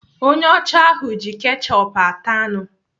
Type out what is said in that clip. Onye ọcha ahụ ji kechup ata anụ.